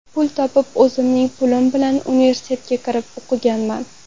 Pul topib, o‘zimning pulim bilan universitetga kirib, o‘qiganman.